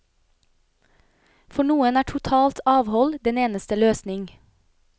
For noen er totalt avhold den eneste løsning.